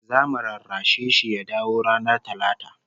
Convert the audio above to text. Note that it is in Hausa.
Zamu rarrashe shi ya dawo ranar Talata